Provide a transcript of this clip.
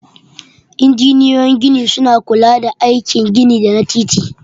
Injiniyoyin gini suna kula da aikin gini da na titi.